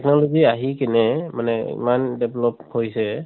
technology আহি কেনে মানে ইমান develop হৈছে ।